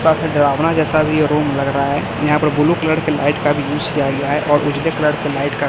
थोड़ा सा डरावना जैसा भी यह रूम लग रहा है यहाँ पर ब्लू कलर की लाइट का भी यूज़ किया गया है और उजले कलर के लाइट का --